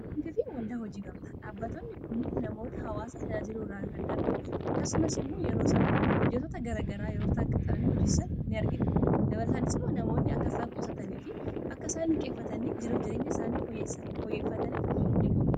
waldaan hojii gamtaa dhaabbatoonni kuni namoota hawaasa tajaajiluu irraa kan darbi akkasumas immoo yeroo isaan hojjetota garagaraa yeroo taaqaxxalan hojiissan in argina dabarataanis moo namoonni akkasaan qusatanii fi akkasaan liqqeeffatanii jireenya isaanii foyyeeffatan kan godhudhaa